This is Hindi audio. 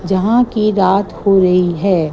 जहां की रात हो रही है।